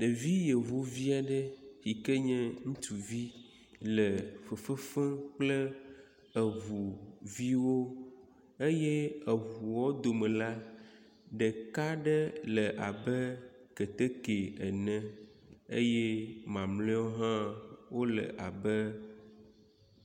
Ɖevu yevuvi aɖe yi ke nye ŋutsuvi le fefe fem kple eŋuviwo eye eŋuawo dome la, ɖeka aɖe le abe keteke ene eye mamleawo hã wole abe